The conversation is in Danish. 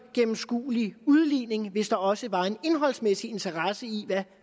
gennemskuelig udligning sige hvis der også var en indholdsmæssig interesse i hvad